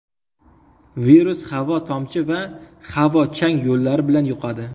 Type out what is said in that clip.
Virus havo-tomchi va havo-chang yo‘llari bilan yuqadi.